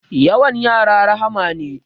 Yawan yara rahma ne